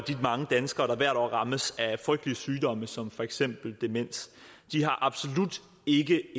mange danskere der hvert år rammes af frygtelige sygdomme som for eksempel demens de har absolut ikke